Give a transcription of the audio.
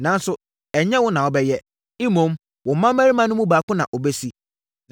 nanso, ɛnyɛ wo na wobɛyɛ. Mmom, wo mmammarima no mu baako na ɔbɛsi.’